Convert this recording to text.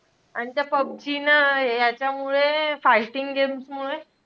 आणि त्या पबजी न हे ह्याच्यामुळे fighting games मुळे,